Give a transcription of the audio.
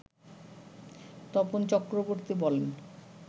তপন চক্রবর্তী বলেন